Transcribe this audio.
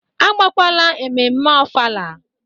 Agabakwala ememe ofala